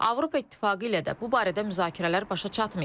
Avropa İttifaqı ilə də bu barədə müzakirələr başa çatmayıb.